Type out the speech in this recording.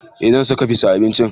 Eh zan saka fis a abincin